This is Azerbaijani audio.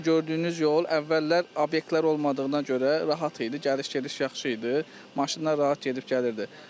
Bu gördüyünüz yol əvvəllər obyektlər olmadığına görə rahat idi, gediş-gəliş yaxşı idi, maşınlar rahat gedib gəlirdi.